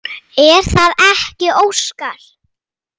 Er það ekki Óskar?